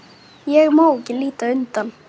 Ég má ekki líta undan.